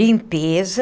Limpeza.